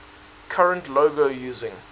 current logo using